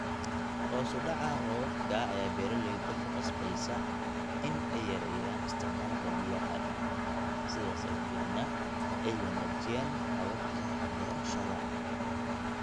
Hoos u dhaca roobabka ayaa beeralayda ku qasbaysa in ay yareeyaan isticmaalka biyaha, sidaas awgeedna ay wanaajiyaan hababka beerashada.